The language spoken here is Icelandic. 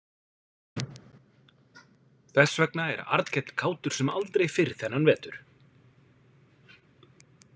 Þess vegna er Arnkell kátur sem aldrei fyrr þennan vetur.